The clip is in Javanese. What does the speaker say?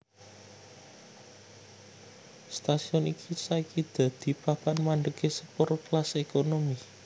Stasiun iki saiki dadi papan mandhegé sepur kelas ékonomi